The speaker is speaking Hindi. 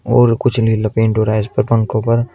और कुछ नील पेंट हो रहा है इसके पंखों पर।